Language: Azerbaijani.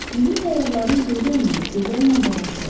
Bizim səyyahların gözü önündə gözəl mənzərə açıldı.